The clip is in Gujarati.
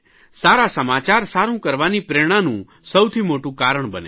સારા સમાચાર સારૂં કરવાની પ્રેરણાનું સૌથી મોટું કારણ બને છે